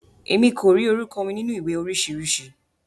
Emi ko ri orúkọ mi nínú ìwé oríṣiríṣi.